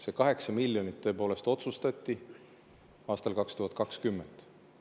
See 8 miljonit tõepoolest otsustati aastal 2020.